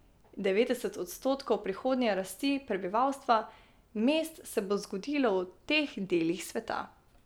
Devetdeset odstotkov prihodnje rasti prebivalstva mest se bo zgodilo v teh delih sveta.